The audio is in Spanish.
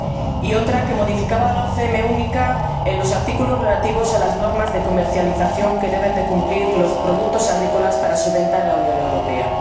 y otra que modificaba la OCM única en los artículos relativos a las normas de comercialización que deben cumplir los productos agrícolas para su venta en la Unión Europea.